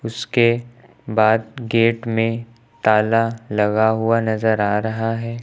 उसके बाद गेट में ताला लगा हुआ नजर आ रहा है।